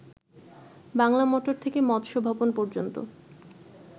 Bangla motor থেকে মৎস্য ভবন পর্যন্ত